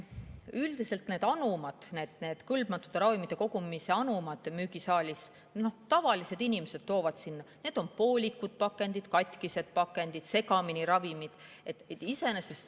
Üldiselt nendesse kõlbmatute ravimite kogumise anumatesse müügisaalis toovad tavalised inimesed poolikuid pakendeid, katkisi pakendeid, ravimid on seal segamini.